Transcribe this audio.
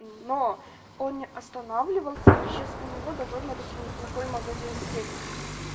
но он не останавливался и сейчас у него довольно-таки неплохое магазин с техникой